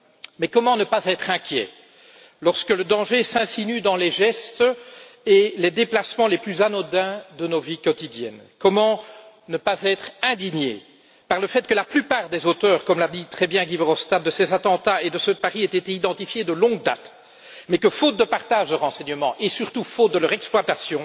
Mais comment ne pas être inquiet lorsque le danger s'insinue dans les gestes et les déplacements les plus anodins de nos vies quotidiennes? Comment ne pas être indigné par le fait que, comme l'a très bien dit Guy Verhofstadt, la plupart des auteurs de ces attentats et de ceux de Paris étaient identifiés de longue date, mais que, faute de partage de renseignements et, surtout, faute de leur exploitation,